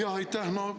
Aitäh!